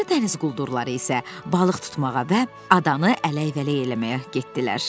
O biri dəniz quldurları isə balıq tutmağa və adanı ələk-vələk eləməyə getdilər.